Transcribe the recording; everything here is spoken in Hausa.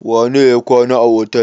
Wane ne ya kwana a otel?